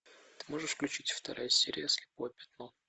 ты можешь включить вторая серия слепое пятно